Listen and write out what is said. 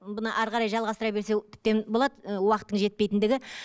бұны әрі қарай жалғастыра берсе тіптен болады ы уақыттың жетпейтіндігі